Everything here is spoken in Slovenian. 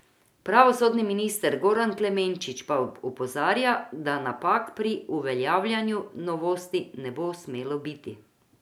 Pravosodni minister Goran Klemenčič pa opozarja, da napak pri uveljavljanju novosti ne bo smelo biti.